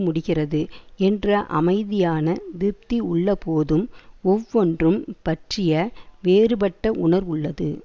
முடிகிறது என்ற அமைதியான திருப்தி உள்ளபோதும் ஒவ்வொன்றும் பற்றிய வேறுபட்ட உணர்வுள்ளது